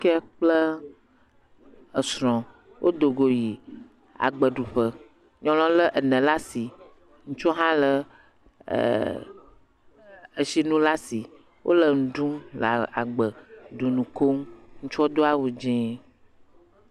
kee kple srɔ̃ wo dogo yi agbeɖuƒe nyɔŋuɔ le ene ɖasi ŋutsuɔ hã le e etsinu lasi wóle nuɖum le agbe ɖum eŋukom ŋutsuɔ do awu dzĩ